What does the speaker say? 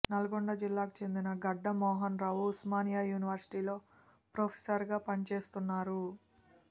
నల్గొండ జిల్లాకు చెందిన గడ్డం మోహన్రావు ఉస్మానియా యూనివర్శిటీలో ప్రొఫెసర్గా పనిచేస్తున్నారు